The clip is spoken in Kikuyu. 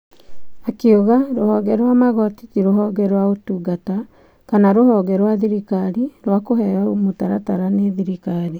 Akiuga rũhonge rwa magoti ti rũhonge rwa ũtungata kana rũhonge rwa thirikari rwa kũheyo mũtaratara nĩ thirikari.